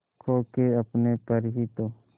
खो के अपने पर ही तो